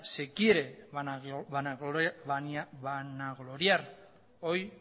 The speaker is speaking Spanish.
se quiere vanagloriar hoy